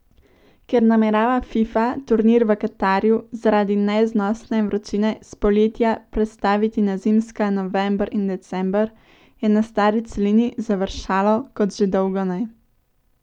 Ker namerava Fifa turnir v Katarju zaradi neznosne vročine s poletja prestaviti na zimska november in december, je na stari celini završalo kot že dolgo ne.